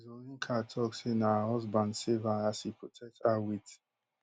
zulinka tok say na her husband save her as e protect her wit